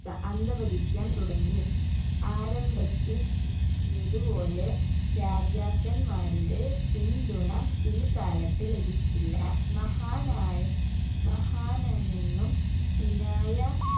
ക അന്തപതിക്കാൻ തുടങ്ങി ആരംഭത്തിൽ കിട്ടിയത് പോലെ രാജാക്കൻമാരുടെ പിന്തുണ പിൽകാലത്ത് ലഭിച്ചില്ല മഹാനായ മഹാനിൽ നിന്നും പിനായ